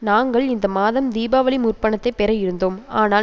நாங்கள் இந்த மாதம் தீபாவளி முற்பணத்தைப் பெற இருந்தோம் ஆனால்